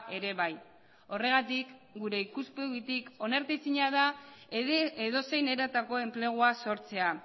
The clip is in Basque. ere bai horregatik gure ikuspegitik onartezina da ere edozein eratako enplegua sortzea